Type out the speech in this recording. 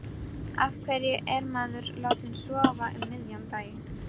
Af hverju er maður látinn sofa um miðjan dag?